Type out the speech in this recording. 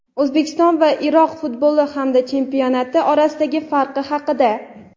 O‘zbekiston va Iroq futboli hamda chempionati orasidagi farq haqida.